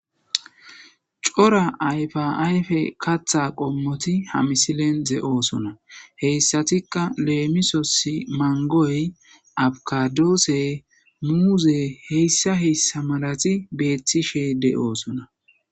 Cora ayfa ayfe kaththa qommoti ha misilen de'osona. Hessatikka leemisos mango, abukado muuze hessa hessa malazi beetishe de'osona.